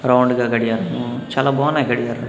round గా గడియారము చాలా బావున్నాయి గడియారా--